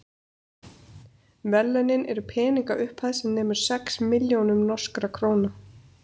verðlaunin eru peningaupphæð sem nemur sex milljónum norskra króna